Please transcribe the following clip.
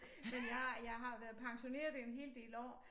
Men jeg jeg har været pensioneret i en hel del år